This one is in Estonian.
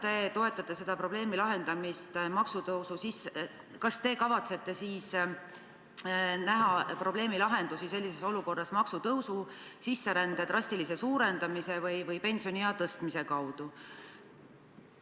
Kas te toetate selle probleemi lahendamist maksutõusu abil või vahest näete probleemi lahendustena sellises olukorras sisserände drastilist suurendamist või pensioniea tõstmist?